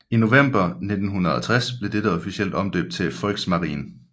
I november 1960 blev dette officielt omdøbt til Volksmarine